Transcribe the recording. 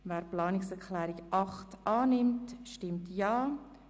Wer diese annehmen will, stimmt Ja.